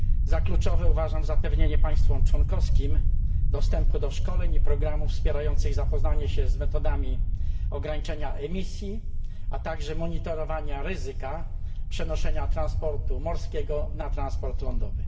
Za kluczowe uważam zapewnienie państwom członkowskim dostępu do szkoleń i programów wspierających zapoznanie się z metodami ograniczenia emisji, a także monitorowania ryzyka przenoszenia transportu morskiego na transport lądowy.